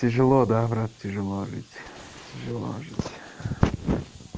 тяжело да брат тяжело жить тяжело жить